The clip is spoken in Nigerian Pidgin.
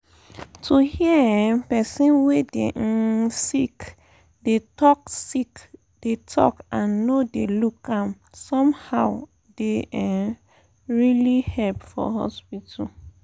to hear um person wey dey um sick dey talk sick dey talk and no dey look am somehow dey um really help for hospital.